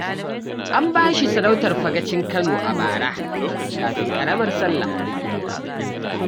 An ba shi sarautar Fagacin Kano a bara kafin ƙaramar Sallah.